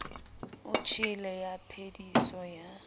o tjhele ya phediso ya